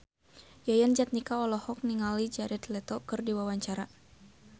Yayan Jatnika olohok ningali Jared Leto keur diwawancara